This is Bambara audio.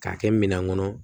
K'a kɛ minan kɔnɔ